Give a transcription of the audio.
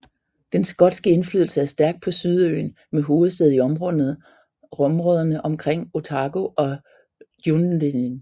Den skotske indflydelse er stærk på Sydøen med hovedsæde i områderne omkring Otago og Dunedin